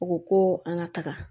U ko ko an ka taga